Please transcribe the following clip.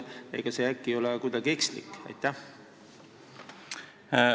Ega see äkki kuidagi ekslik ole?